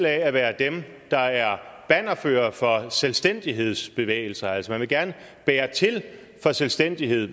at være dem der er bannerførere for selvstændighedsbevægelser altså man vil gerne bære til for selvstændighed